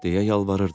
deyə yalvarırdı.